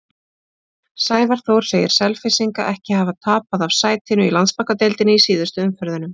Sævar Þór segir Selfyssinga ekki hafa tapað af sætinu í Landsbankadeildinni í síðustu umferðunum.